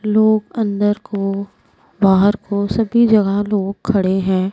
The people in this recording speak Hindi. लोग अंदर को बाहर को सभी जगह लोग खड़े है।